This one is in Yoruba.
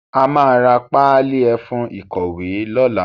A máa ra páálí ẹfun ìkọ̀wé lọ́la.